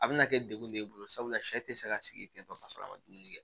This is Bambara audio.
A bɛna kɛ degun de ye e bolo sabula sɛ tɛ se ka sigi ten tɔ ka sɔrɔ a ma dumuni kɛ